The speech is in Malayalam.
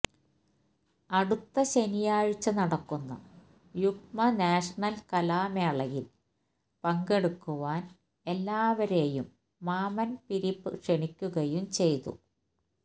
അടുത്ത ശനിയാഴ്ച നടക്കുന്ന യുക്മ നാഷണല് കലാമേളയില് പങ്കെടുക്കുവാന് എല്ലാവരെയും മാമ്മന് ഫിലിപ്പ് ക്ഷണിക്കുകയും ചെയ്തു